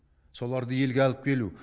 соларды елге алып келу